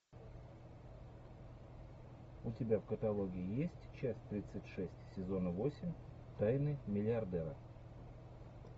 у тебя в каталоге есть часть тридцать шесть сезона восемь тайны миллиардера